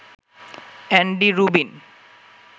Andy Rubin